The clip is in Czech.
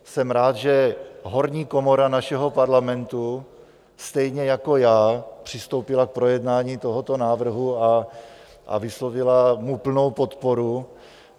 Jsem rád, že horní komora našeho Parlamentu stejně jako já přistoupila k projednání tohoto návrhu a vyslovila mu plnou podporu.